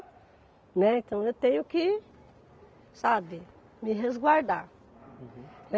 Né. Então eu tenho que, sabe, me resguardar. Uhum